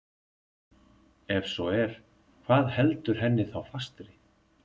Ef svo er, hvað heldur henni þá fastri?